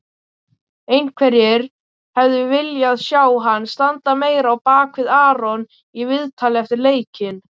Einhverjir hefðu viljað sjá hann standa meira á bakvið Aron í viðtali eftir leikinn.